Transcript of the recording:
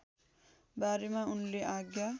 बारेमा उनले आज्ञा